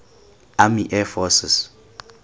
army air forces